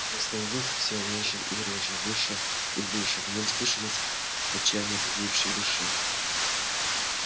он становился всё реже и реже выше и выше в нем слышалось отчаяние погибшей души